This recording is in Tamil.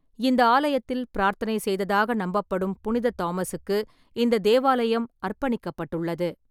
இந்த ஆலயத்தில் பிரார்த்தனை செய்ததாக நம்பப்படும் புனித தாமஸுக்கு இந்த தேவாலயம் அர்ப்பணிக்கப்பட்டுள்ளது.